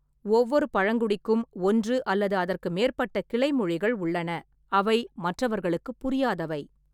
ஒவ்வொரு பழங்குடிக்கும் ஒன்று அல்லது அதற்கு மேற்பட்ட கிளைமொழிகள் உள்ளன, அவை மற்றவர்களுக்குப் புரியாதவை.